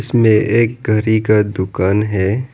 इसमें एक घड़ी का दुकान है।